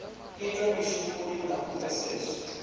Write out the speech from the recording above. itwa mushumoni na u pfeseswa